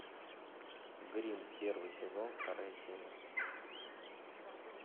гримм первый сезон вторая серия